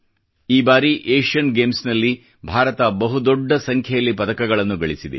ಈ ಬಾರಿ Asian Games ಗಳಲ್ಲಿ ಭಾರತ ಬಹು ದೊಡ್ಡ ಸಂಖ್ಯೆಯಲ್ಲಿ ಪದಕಗಳನ್ನು ಗಳಿಸಿದೆ